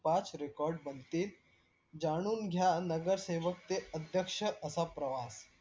पाच record बनतील जाणून घ्या नगरसेवक चे अध्यक्ष असा प्रवास